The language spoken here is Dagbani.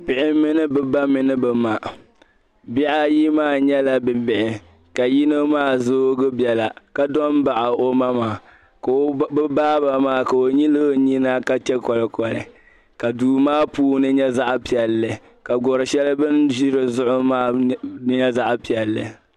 Bihi mini bɛ ba mini bɛ ma bihi ayi maa nyɛla bi'bihi ka yino maa zoogi bɛla ka so m baɣi o ma maa ka o ba bɛ baaba maa ka o nyili o nyina ka chɛ kolikoli ka duu maa puuni nyɛ zaɣ'piɛlli ka gɔri shɛli bin zi di zuɣu maa nyɛ zaɣ'piɛlli